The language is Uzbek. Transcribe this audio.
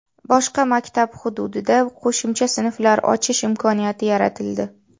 Boshqa maktab hududida qo‘shimcha sinflar ochish imkoniyati yaratildi.